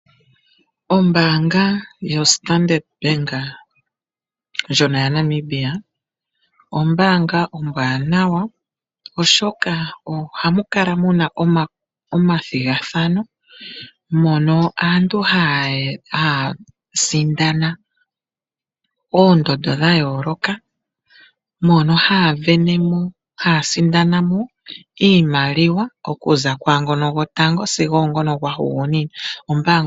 Ombaanga yoStandard bank ndjono ya Namibia, ombaanga ombwaanawa oshoka ohamu kala muna omathigathano mono aantu haya sindana oondhondo dha yooloka. Mono haya vene mo haya sindana mo iimaliwa okuza ku ngoka gwotango sigo ngu gwa hugunina.